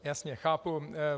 Jasně, chápu.